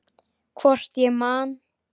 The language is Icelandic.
Hvort ég man.